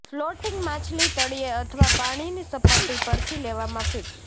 floating માછલી તળિયે અથવા પાણીની સપાટી પરથી લેવામાં ફીડ્સ